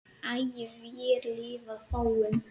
æ vér lifað fáum